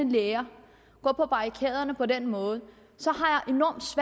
læger går på barrikaderne på den måde